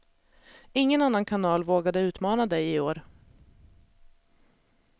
Ingen annan kanal vågade utmana dig i år.